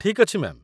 ଠିକ୍ ଅଛି, ମ୍ୟା'ମ୍